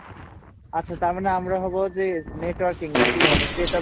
আচ্ছা তারমানে আমরা হব যে নেটওয়ার্কিং নাকি মানে কী